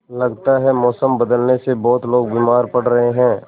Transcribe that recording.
लगता है मौसम बदलने से बहुत लोग बीमार पड़ रहे हैं